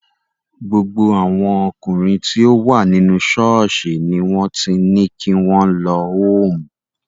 Gbogbo àwọn ọkùnrin tí ó wà nínú ṣọ́ọ̀ṣì ni wọ́n ti ní kí wọ́n lọ hoome.